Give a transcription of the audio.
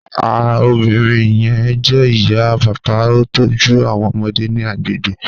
Ah obinrin yẹn jẹ iya, paapaa o tọju awọn ọmọde ni agbegbe